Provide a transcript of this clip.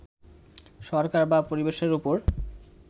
সরকার বা পরিবেশের উপর